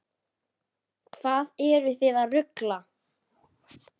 Hvað eruð þið að rugla?